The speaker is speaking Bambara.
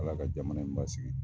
Ala ka jamana in basigi.